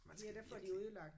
Man skal virkelig